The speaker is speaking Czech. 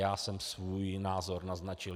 Já jsem svůj názor naznačil.